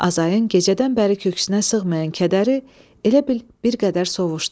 Azayın gecədən bəri köksünə sığmayan kədəri elə bil bir qədər sovşdu.